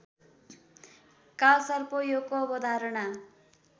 कालसर्पयोगको अवधारणा